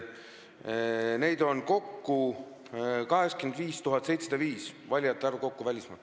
Neid on kokku 85 705 – selline on valijate arv välismaal.